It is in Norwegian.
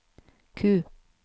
Q